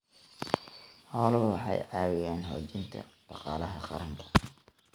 Xooluhu waxay ka caawiyaan xoojinta dhaqaalaha qaranka.